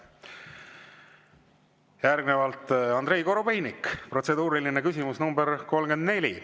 Järgnevalt Andrei Korobeinik, protseduuriline küsimus nr 34.